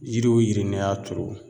Yiri o yiri n'i y'a turu